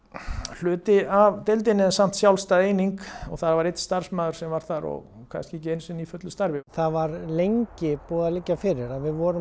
hluti af deildinni en samt sjálfstæð eining og það var einn starfsmaður sem var þar og kannski ekki einu sinni í fullu starfi það var lengi búið að liggja fyrir að við vorum